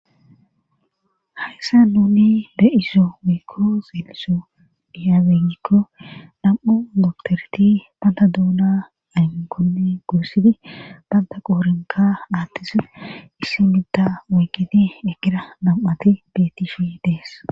hayssa nuni de7iso woykko zeeliso diyaabegikko dham7u doktorti banda duuna aynkonne gorsidi banda qoorinka aattisa issi midda woygidi ekira nam7ati bettishi dees